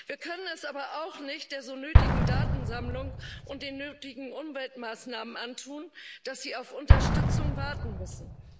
Wir können es aber auch nicht der so nötigen Datensammlung und den nötigen Umweltmaßnahmen antun, dass sie auf Unterstützung warten müssen.